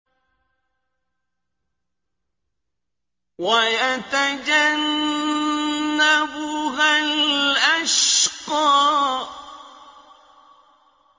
وَيَتَجَنَّبُهَا الْأَشْقَى